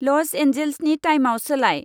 ल'स एन्जेल्सनि टाइमाव सोलाय।